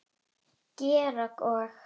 Georg og